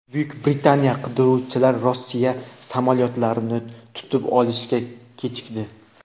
Buyuk Britaniya qiruvchilari Rossiya samolyotlarini tutib olishga kechikdi .